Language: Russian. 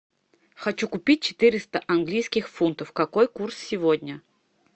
хочу купить четыреста английских фунтов какой курс сегодня